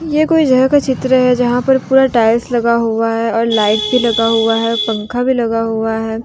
ये कोई जगह का चित्र है जहां पर पूरा टाइल्स लगा हुआ है और लाइट भी लगा हुआ है पंखा भी लगा हुआ है।